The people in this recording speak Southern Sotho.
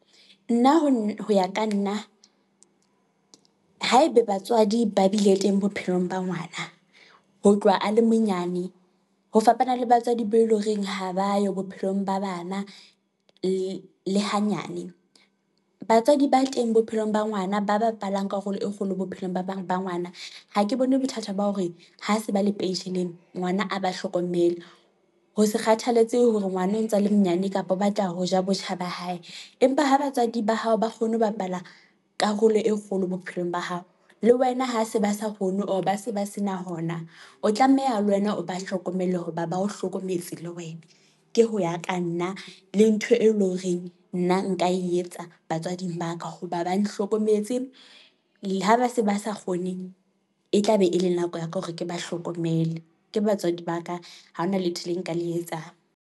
Nna ho ya ka nna, haebe batswadi ba bile teng bophelong ba ngwana ho tloha a le monyane, ho fapana le batswadi be eleng horeng ha ba yo bophelong ba bana le hanyane, batswadi ba teng bophelong ba ngwana ba bapalang karolo e kgolo bophelong ba ngwana, ha ke bone bothata ba hore ha se ba le pensheleng, ngwana a ba hlokomele. Ho sa kgathalatsehe hore ngwana o ntsa a le monyane kapa o batla ho ja botjha ba hae, empa ha batswadi ba hao ba kgone ho bapala karolo e kgolo bophelong ba hao, le wena ha se ba sa kgone, or ba se ba se na hona. O tlameha le wena, o ba hlokomele hoba ba ho hlokometse le wena, ke ho ya ka nna, le ntho e leng horeng nna nka e etsa batswadi ba ka, hoba ba nhlokometse, le ha ba se ba sa kgoneng. E tlabe e le nako ya ka, hore ke ba hlokomele. Ke batswadi ba ka, ha hona letho le nka le etsang.